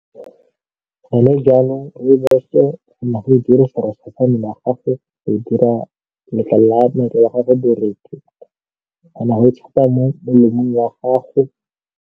Gone janong Rooibos-o kgona go e dirisa gago go dira letlalo la gago borethe, o kgona go e mo melemong ya gago.